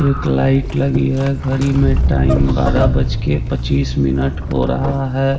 एक लाइट लगी है घड़ी में टाइम बारह बज के पच्चीस मिनट हो रहा है।